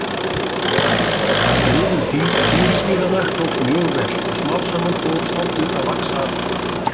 Friðun tígrisdýranna tókst mjög vel og smám saman fór stofninn að vaxa aftur.